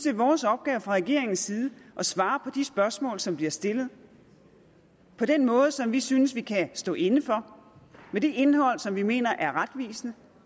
er vores opgave fra regeringens side at svare de spørgsmål som bliver stillet på den måde som vi synes vi kan stå inde for og med det indhold som vi mener er retvisende